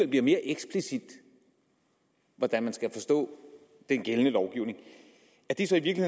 bliver mere eksplicit hvordan man skal forstå den gældende lovgivning er det så i